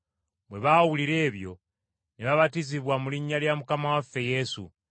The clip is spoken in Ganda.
Bwe baawulira ebyo, ne babatizibwa mu linnya lya Mukama waffe Yesu.